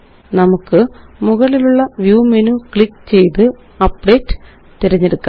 നമുക്ക് മുകളിലുള്ള view menu click ചെയ്ത് അപ്ഡേറ്റ് തിരഞ്ഞെടുക്കാം